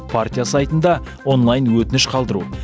партия сайтында онлайн өтініш қалдыру